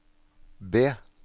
B